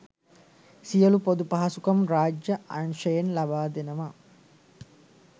සියලු පොදු පහසුකම් රාජ්‍ය අංශයෙන් ලබා දෙනවා.